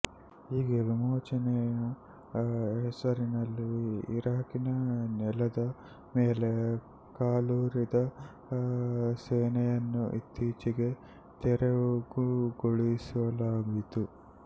ಹೀಗೆ ವಿಮೋಚನೆಯ ಹೆಸರಿನಲ್ಲಿ ಇರಾಕಿನ ನೆಲದ ಮೇಲೆ ಕಾಲೂರಿದ ಸೇನೆಯನ್ನು ಇತ್ತೀಚೆಗೆ ತೆರವುಗೊಳಿಸಲಾಯಿತು